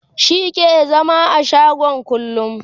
shi ke zama a shago kullum